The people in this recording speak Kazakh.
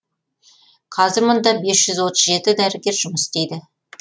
қазір мұнда бес жүз отыз жеті дәрігер жұмыс істейді